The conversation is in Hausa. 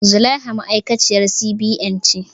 Zulaiha ma'aikaciyar C.B.N ce